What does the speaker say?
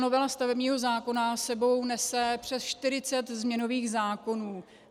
Novela stavebního zákona s sebou nese přes 40 změnových zákonů.